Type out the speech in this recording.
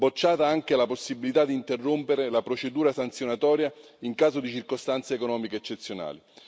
Bocciata anche la possibilità di interrompere la procedura sanzionatoria in caso di circostanze economiche eccezionali.